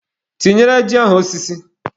Tinyere ji ahụ osiso.